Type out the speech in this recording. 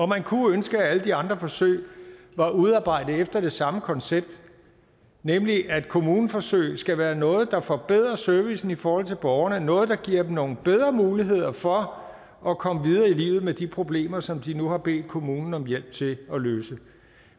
man kunne ønske at alle de andre forsøg var udarbejdet efter det samme koncept nemlig at kommuneforsøg skal være noget der forbedrer servicen i forhold til borgerne noget der giver dem nogle bedre muligheder for at komme videre i livet med de problemer som de nu har bedt kommunen om hjælp til at løse